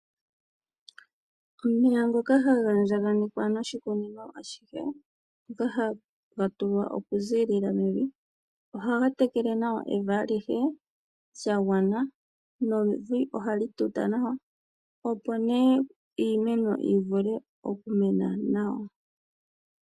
Omeya ngoka haga andjaganekwa noshikunino ashihe ngoka haga tulwa oku ziilila mevi. Ohaga tekele nawa evi alihe shagwana nevi ohali tuta nawa opo ne iimeno yivule okumena nawa.